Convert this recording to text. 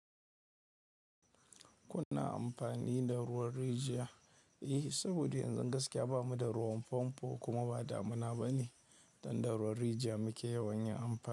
Kuna amfani da ruwan rijiya? Eh, saboda yanzu gaskiya bamu da ruwan famfo kuma ba damuna ba ne. Don da ruwan rijiya muke yawan yin amfani.